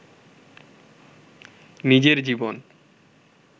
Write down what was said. নিজের জীবন